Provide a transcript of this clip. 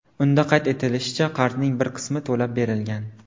Unda qayd etilishicha, qarzning bir qismi to‘lab berilgan.